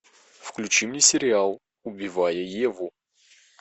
включи мне сериал убивая еву